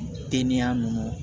Teliya nunnu